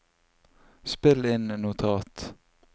spill inn notat